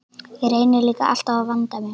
Ég reyni líka alltaf að vanda mig.